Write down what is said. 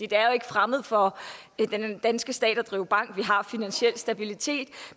det er jo ikke fremmed for den danske stat at drive bank vi har finansiel stabilitet